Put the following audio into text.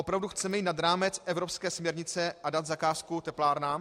Opravdu chceme jít nad rámec evropské směrnice a dát zakázku teplárnám?